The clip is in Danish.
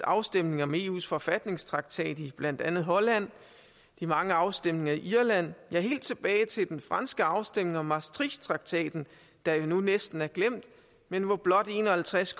afstemning om eus forfatningstraktat i blandt andet holland de mange afstemninger i irland ja helt tilbage til den franske afstemning om maastrichttraktaten der nu næsten er glemt men hvor blot en og halvtreds